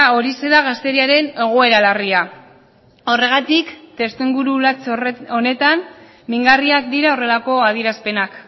horixe da gazteriaren egoera larria horregatik testuinguru latz honetan mingarriak dira horrelako adierazpenak